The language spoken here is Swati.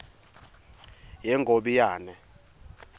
yengobiyane